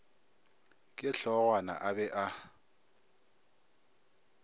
ke hlogwana a be a